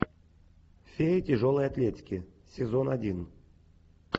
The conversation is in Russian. фея тяжелой атлетики сезон один